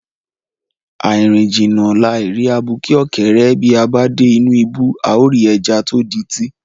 Àì rìn jìnnà, làì rí abuké ọ̀kẹ́rẹ́, bí a bá dé inú ibú, àá rí ẹja tó dití.